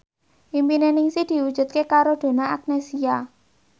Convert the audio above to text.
impine Ningsih diwujudke karo Donna Agnesia